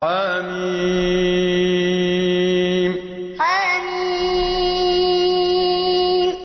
حم حم